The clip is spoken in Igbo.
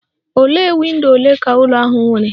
Ole windo ole ka ụlọ ahụ nwere?